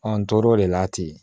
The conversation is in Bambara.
n tor'o de la ten